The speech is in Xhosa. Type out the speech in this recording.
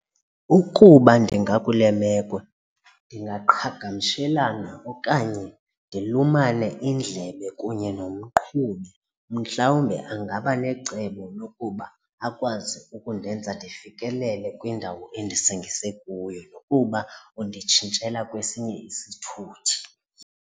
Ukuba ndingakule meko ndingaqhagamshelana okanye ndilumane indlebe kunye nomqhubi mhlawumbe ingaba necebo lokuba akwazi ukundenza ndifikelele kwindawo endisingise kuyo nokuba unditshintshela kwesinye isithuthi.